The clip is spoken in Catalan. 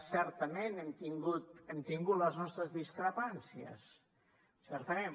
certament hem tingut les nostres discrepàncies certament